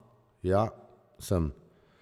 Ja, sem.